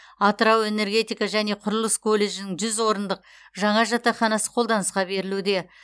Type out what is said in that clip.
атырау энергетика және құрылыс колледжінің жүз орындық жаңа жатақханасы қолданысқа берілуде